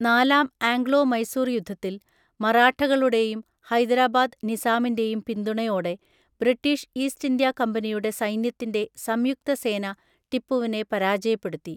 നാലാം ആംഗ്ലോ മൈസൂർ യുദ്ധത്തിൽ, മറാഠകളുടെയും ഹൈദരാബാദ് നിസാമിന്റെയും പിന്തുണയോടെ ബ്രിട്ടീഷ് ഈസ്റ്റ് ഇന്ത്യാ കമ്പനിയുടെ സൈന്യത്തിന്റെ സംയുക്ത സേന ടിപ്പുവിനെ പരാജയപ്പെടുത്തി.